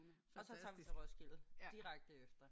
Og så tager vi til Roskilde. Direkte efter